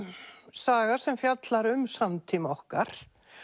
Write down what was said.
saga sem fjallar um samtíma okkar